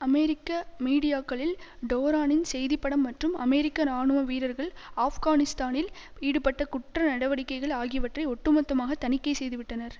அமெரிக்க மீடியாக்களில் டோரானின் செய்தி படம் மற்றும் அமெரிக்க இராணுவ வீரர்கள் ஆப்கானிஸ்தானில் ஈடுபட்ட குற்ற நடவடிக்கைகள் ஆகியவற்றை ஒட்டுமொத்தமாக தணிக்கை செய்துவிட்டனர்